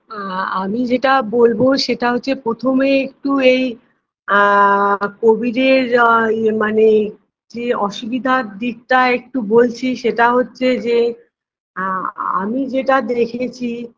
আ আমি যেটা বলবো সেটা হচ্ছে প্রথমে একটু এই আ covid -এর আ ইয়ে মানে যে অসুবিধার দিকটা একটু বলছি সেটা হচ্ছে যে আ আমি যেটা দেখেছি